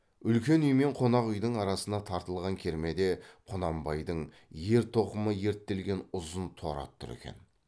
үлкен үй мен қонақ үйдің арасына тартылған кермеде құнанбайдың ер тоқымы ерттелген ұзын торы ат тұр екен